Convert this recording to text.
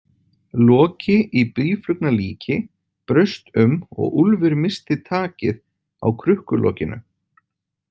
Loki í býflugnalíki braust um og Úlfur missti takið á krukkulokinu.